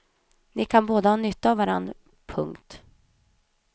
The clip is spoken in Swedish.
Ni kan båda ha nytta av varann. punkt